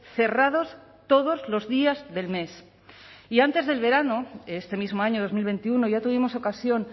cerrados todos los días del mes y antes del verano este mismo año dos mil veintiuno ya tuvimos ocasión